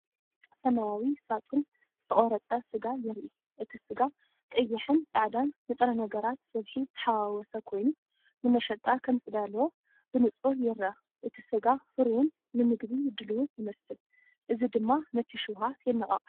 ሰማያዊ ሳጹን ዝተቖርጸ ስጋ የርኢ። እቲ ስጋ ቀይሕን ጻዕዳን ንጥረ ነገራት ስብሒ ተሓዋወሰ ኮይኑ፡ ንመሸጣ ከምዝተዳለወ ብንጹር ይርአ። እቲ ስጋ ፍሩይን ንመግቢ ድሉውን ይመስል፡ እዚ ድማ ነቲ ሸውሃት የነቓቕሖ።